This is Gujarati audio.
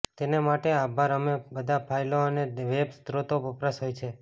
તેને માટે આભાર અમે બધા ફાઇલો અને વેબ સ્રોતો વપરાશ હોય છે